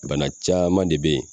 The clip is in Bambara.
Bana caman de be yen